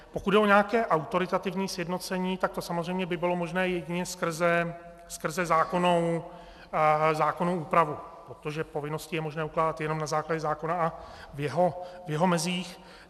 Pokud jde o nějaké autoritativní sjednocení, tak to samozřejmě by bylo možné jedině skrze zákonnou úpravu, protože povinnosti je možné ukládat jenom na základě zákona a v jeho mezích.